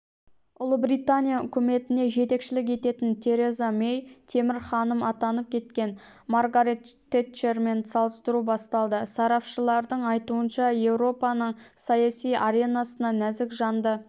ұлыбритания үкіметіне жетекшілік ететін тереза мэйді темір ханым атанып кеткен маргарет тэтчермен салыстыру басталды сарапшылардың айтуынша еуропаның саяси аренасына нәзік жанды